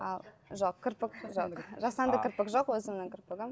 ал жоқ кірпік жоқ жасанды кірпік жоқ өзімнің кірпігім